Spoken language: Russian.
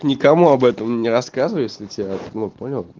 никому об этом не рассказывай если тебя ну понял